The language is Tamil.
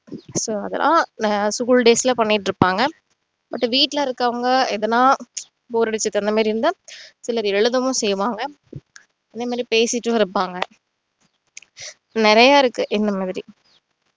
so அதெல்லாம் நாங்க school days ல பண்ணிட்டு இருப்பாங்க அடுத்து வீட்டுல இருக்கவங்க எதுனா bore அடிச்சுது அந்த மாதிரி இருந்தா சிலர் எழுதவும் செய்வாங்க அதே மாதிரி பேசிட்டும் இருப்பாங்க நிறைய இருக்கு இந்த மாதிரி